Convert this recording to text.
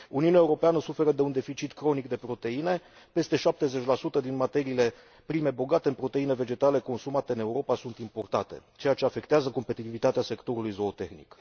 Uniunea Europeană suferă de un deficit cronic de proteine peste 70 din materiile prime bogate în proteine vegetale consumate în Europa sunt importate, ceea ce afectează competitivitatea sectorului zootehnic.